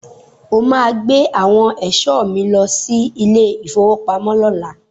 O máa gbé àwọn ẹ̀ṣọ́ mi lọ sí ilé-ìfowópamọ́ lọ́la.